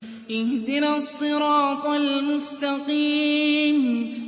اهْدِنَا الصِّرَاطَ الْمُسْتَقِيمَ